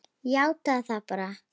Játaðu það bara!